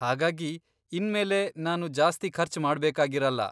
ಹಾಗಾಗಿ ಇನ್ಮೇಲೆ ನಾನು ಜಾಸ್ತಿ ಖರ್ಚ್ ಮಾಡ್ಬೇಕಾಗಿರಲ್ಲ.